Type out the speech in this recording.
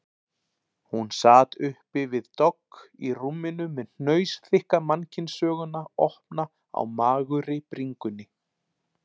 Hún sat uppi við dogg í rúminu með hnausþykka mannkynssöguna opna á magurri bringunni.